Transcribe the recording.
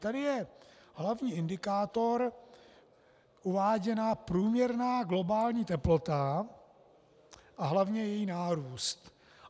Tady je hlavní indikátor uváděna průměrná globální teplota a hlavně její nárůst.